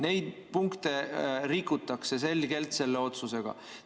Neid punkte rikutakse selle otsusega selgelt.